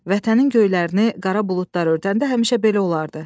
Vətənin göylərini qara buludlar örtəndə həmişə belə olardı.